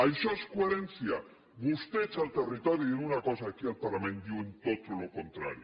això és coherència vostès al territori diuen una cosa aquí al parlament diuen tot el contrari